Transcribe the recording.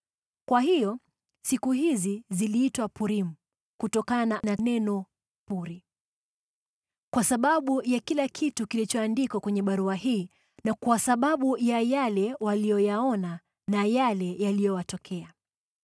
(Kwa hiyo siku hizi ziliitwa Purimu, kutokana na neno puri .) Kwa sababu ya kila kitu kilichoandikwa kwenye barua hii na kwa sababu ya yale waliyoyaona na yale yaliyowatokea,